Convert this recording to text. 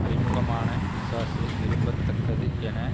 அறிமுகமான பிசாசு விரும்ப தக்கது என